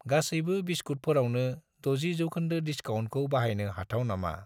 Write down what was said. गासैबो बिस्कुतफोरावनो 60 % डिसकाउन्टखौ बाहायनो हाथाव नामा?